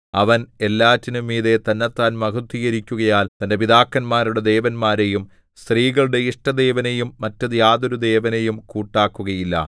അവൻ എല്ലാറ്റിനും മീതെ തന്നെത്താൻ മഹത്ത്വീകരിക്കുകയാൽ തന്റെ പിതാക്കന്മാരുടെ ദേവന്മാരെയും സ്ത്രീകളുടെ ഇഷ്ടദേവനെയും മറ്റു യാതൊരു ദേവനെയും കൂട്ടാക്കുകയില്ല